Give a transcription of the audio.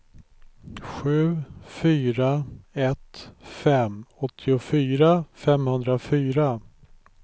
sju fyra ett fem åttiofyra femhundrafyra